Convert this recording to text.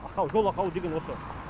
ақау жол ақауы деген осы